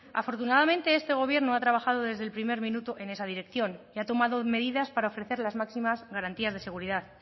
afortunadamente este gobierno ha trabajado desde el primer minuto en esa dirección y ha tomado medidas para ofrecer las máximas garantías de seguridad